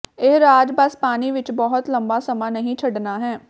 ਇਹ ਰਾਜ਼ ਬਸ ਪਾਣੀ ਵਿਚ ਬਹੁਤ ਲੰਮਾ ਸਮਾਂ ਨਹੀਂ ਛੱਡਣਾ ਹੈ